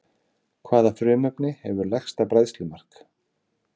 Hvaða frumefni hefur lægsta bræðslumark?